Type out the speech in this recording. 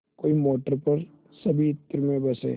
कोई मोटर पर सभी इत्र में बसे